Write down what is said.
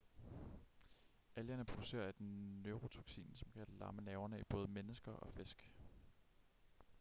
algerne producerer et neurotoksin som kan lamme nerverne i både mennesker og fisk